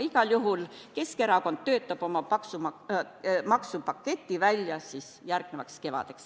Igal juhul Keskerakond töötab oma maksupaketi välja järgmiseks kevadeks.